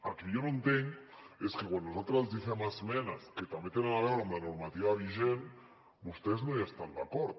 el que jo no entenc és que quan nosaltres els fem esmenes que també tenen a veure amb la normativa vigent vostès no hi estan d’acord